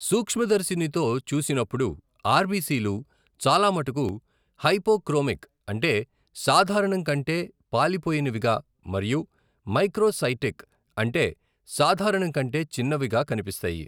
సూక్ష్మదర్శినితో చూసినప్పుడు ఆర్బిసిలు చాలామటుకు హైపోక్రోమిక్ అంటే సాధారణం కంటే పాలిపోయినవిగా మరియు మైక్రోసైటిక్ అంటే సాధారణం కంటే చిన్నవిగా కనిపిస్తాయి.